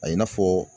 A i n'a fɔ